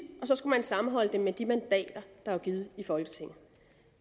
og så skulle man sammenholde dem med de mandater der var givet af folketinget